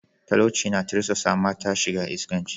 Talauci na tirsasa mata shiga iskanci.